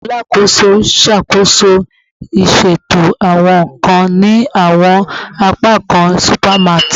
Alakoso n ṣakoso iṣeto awọn nkan ni awọn apakan supermart